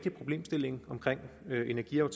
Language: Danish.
jo